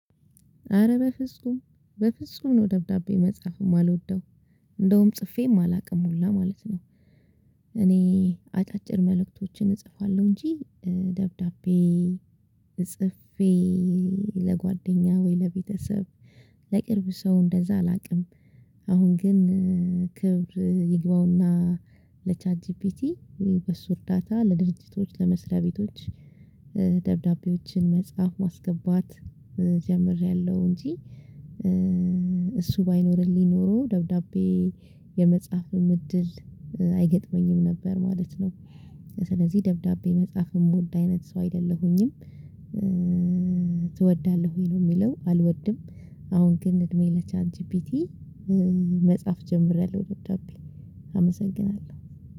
አረ በፍጹም በፍጹም ነው ደብዳቤ መጻፍ የማልወደው እንደውም ጽፌም አላውቅም ሁላ ማለት ነው። እኔ አጫጭር መልእክቶችን እጽፋለሁ እንጂ ደብዳቤ ጽፌ ለጓደኛ ወይ ለቤተሰብ ለቅርብ ሰው እንደዛ አላውቅም። አሁን ግን ክብር ይግባውና ለቻት ጂፒቲ በሱ እርዳታ ለድርጅቶች ለመስሪያ ቤቶች ደብዳቤዎችን መጻፍ ማስገባት ጀምሬያለሁ እንጂ። እሱ ባይኖርልኝ ኖሮ ደብዳቤ የመጻፍም እድል አይገጥመኝም ነበር ማለት ነው። ስለዚህ ደብዳቤ መጻፍ የምወድ አይነት ሰው አይደለሁኝም። ትወዳለህ ወይ ነው የሚለው? አልወድም። አሁን ግን እድሜ ለቻት ጂፒቲ መጻፍ ጀምሬያለሁ። ደብዳቤ አመሰግናለሁ።